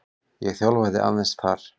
Ég þjálfaði aðeins þar.